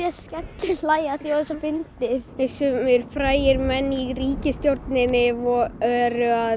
að skellihlæja sumir frægir menn í ríkisstjórninni eru að